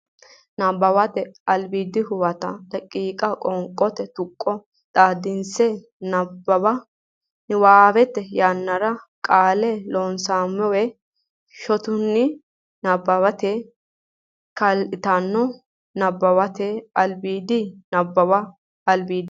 Nabbawate Albiidi Huwato daqiiqa qoonqote tuqqo xaadisse nabbawa niwaawete yannara qaalla Loonseemmo shotunni nabbawate kaa litanonnsa Nabbawate Albiidi Nabbawate Albiidi.